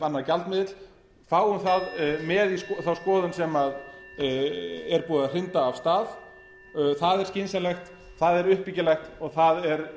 annar gjaldmiðill fáum það með í þá skoðun sem er búið að hrinda af stað það er skynsamlegt það er uppbyggilegt og það er